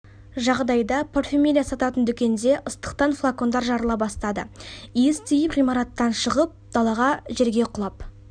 жағдайда парфюмерия сататын дүкенде ыстықтан флакондар жарыла бастады иіс тиіп ғимараттан шығып далаға жерге құлап